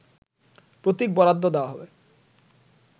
প্রতীক বরাদ্দ দেয়া হবে